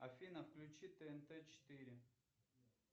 афина включи тнт четыре